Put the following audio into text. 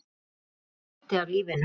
Hann er hluti af lífinu.